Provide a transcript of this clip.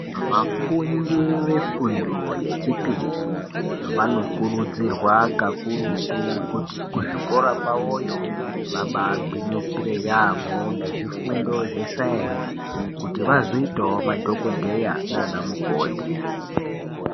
Vafundi vefundo yechipiri vanokurudzirwa kakurutu kuti kuzvikora kwavoyo vabagwinyisire yaamho, ngezvifundo zvesaenzi kuti vazoitavo madhogodheya nana mukoti.